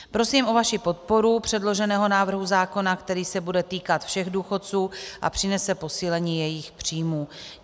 Prosím o vaši podporu předloženého návrhu zákona, který se bude týkat všech důchodců a přinese posílení jejich příjmů.